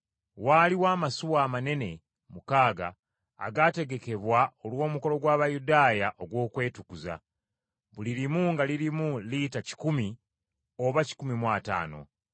Waaliwo amasuwa amanene mukaaga agaategekebwa olw’omukolo gw’Abayudaaya ogw’okwetukuza, buli limu nga lirimu lita kikumi oba kikumi mu ataano.